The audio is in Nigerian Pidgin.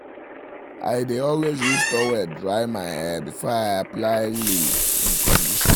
i dae always use toweldry um my hair um before i apply leave-in conditioner um